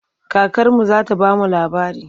Kakarmu za ta ba mu labari.